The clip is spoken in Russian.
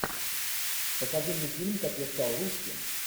покажи мне фильм как я стал русским